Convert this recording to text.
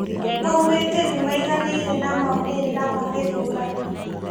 Maugĩte nĩmaiganĩire na maumĩrĩra ma gĩthurano